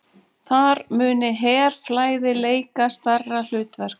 Þar muni herfræði leika stærra hlutverk